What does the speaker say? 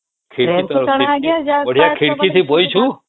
ଖିଡକୀ ଟା ବଢିଆ ଖିଡକୀ ଥେ ବସିଛୁ